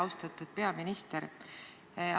Austatud peaminister!